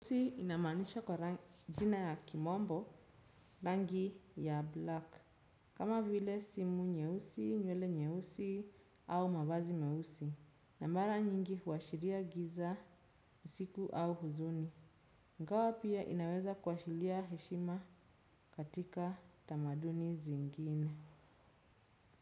Nyeusi inamanisha kwa jina ya kimombo rangi ya black. Kama vile simu nyeusi, nywele nyeusi au mavazi meusi na mara nyingi huashiria giza, usiku au huzuni. Ingawa pia inaweza kuashilia heshima katika tamaduni zingine.